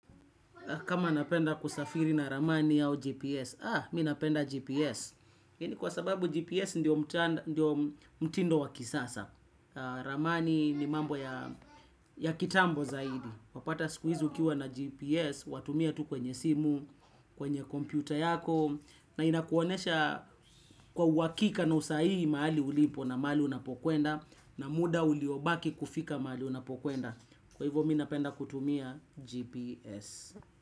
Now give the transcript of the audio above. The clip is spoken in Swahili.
Kama napenda kusafiri na ramani au GPS, ah mi napenda GPS. Kwa sababu GPS ndio mtindo wa kisasa. Ramani ni mambo ya kitambo zaidi. Wapata sikuizi ukiwa na GPS, watumia tu kwenye simu, kwenye kompyuta yako. Na inakuonesha kwa uwakika na usahihi maali ulipo na maali unapokwenda. Na muda uliobaki kufika maali unapokwenda. Kwa hivyo mi napenda kutumia GPS.